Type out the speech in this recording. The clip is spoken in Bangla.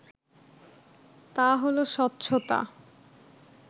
তা হলো স্বচ্ছতা